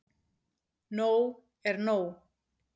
Nóg er nóg